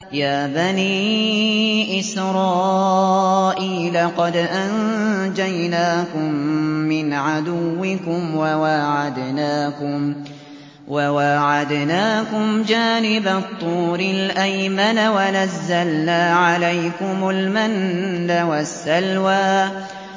يَا بَنِي إِسْرَائِيلَ قَدْ أَنجَيْنَاكُم مِّنْ عَدُوِّكُمْ وَوَاعَدْنَاكُمْ جَانِبَ الطُّورِ الْأَيْمَنَ وَنَزَّلْنَا عَلَيْكُمُ الْمَنَّ وَالسَّلْوَىٰ